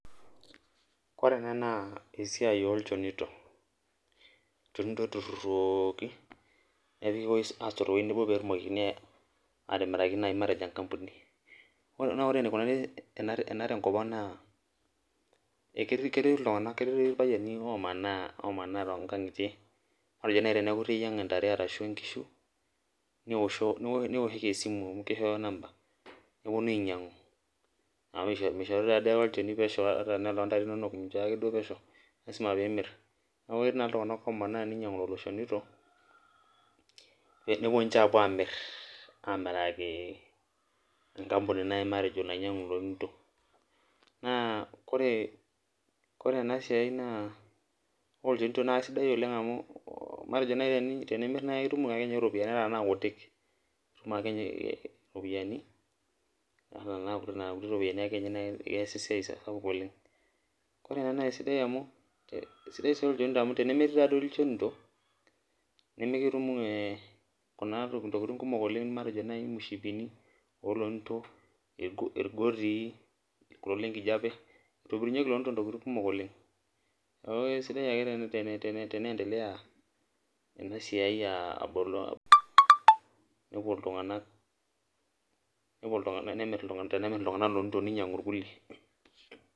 Ore ena naa esiai olchanito, lchonito oitururuoki nesoti teweji nebo pee etumokini naaji atimiraki matejo enkampuni ,naa ore enaikunari ena tenkopang naa ketii irpayiani omana tonkangitie matejo naaji iteyienga ntae ashu nkishu niwoshoki esimu amu kishoyo number neponu ainyangu amu mishori naake pesho olchoni loontare inonok lasima pee imir, neeku ketii naa iltunganak omana neinyangu lelo shonitok nepuo ninche apuo amiraki matejo enkampuni naaji nainyangu lonito. naa Kore ena siai naa ore ilchonitok naa keisidai oleng amu matejo naaji tenimir naa itum iropiyiani ata tenaa nkutik itum ake ninye ropiyiani ata tena nina kutik iyasie ake ninye esiai sapuk oleng ,sidai sii lchonito amu tenemetii naaji ilchonito nimutumoki Kuna tokiting naijo naaji mushipini oolonito, irgotii kulo lenkijiepe kitobirunyieki lonito ntokiting kumok oleng, neeku sidai ake teneendelea ena siai tenemir iltunganak ilonito neinyangu irkulie.